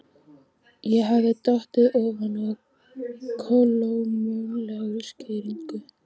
Ég hafði dottið ofan á kolómögulega skýringu.